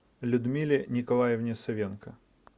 людмиле николаевне савенко